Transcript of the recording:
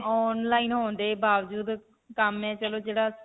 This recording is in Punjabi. online ਹੋਣ ਦੇ ਬਾਵਜੂਦ ਕੰਮ ਹੈ ਚਲੋ ਜਿਹੜਾ